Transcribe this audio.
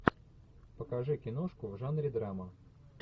покажи киношку в жанре драма